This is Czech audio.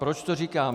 Proč to říkám?